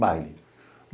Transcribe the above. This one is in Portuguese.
Baile.